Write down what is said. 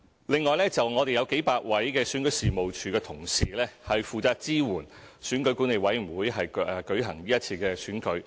另外，我們有數百位選舉事務處的同事，負責支援選舉管理委員會舉行今次選舉。